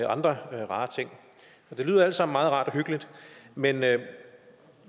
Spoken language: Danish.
andre rare ting det lyder alt sammen meget rart og hyggeligt men